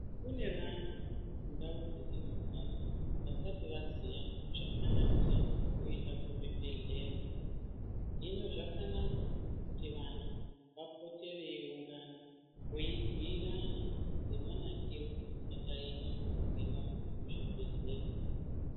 Kune vantu mundau dzatinogara vasati vaziva zvakanakira kuenda kuzvibhedhlera hino zvakanaka kuti vantu vapote vei ungana vei bhuyirana ngemanakiro akaita kuenda kuchibhedhlera.